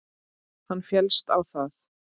Hann féllst á það.